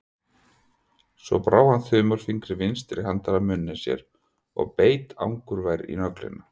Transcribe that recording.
Svo brá hann þumalfingri vinstri handar að munni sér og beit angurvær í nöglina.